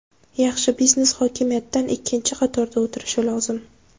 Yaxshi biznes hokimiyatdan ikkinchi qatorda o‘tirishi lozim.